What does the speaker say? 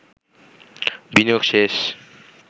বিনিয়োগ শেষ